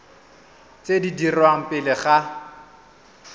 tse di dirwang pele ga